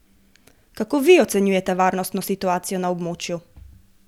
Kako vi ocenjujete varnostno situacijo na območju?